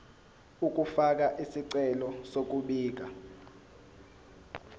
ukufaka isicelo sokubika